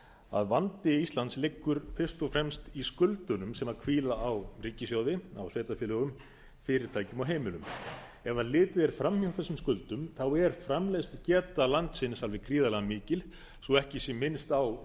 að vandi íslands liggur fyrst og fremst í skuldunum sem hvíla á ríkissjóði á sveitarfélögum fyrirtækjum og heimilum ef litið er fram hjá þessum skuldum er framleiðslugeta landsins alveg gríðarlega mikil svo ekki sé minnst á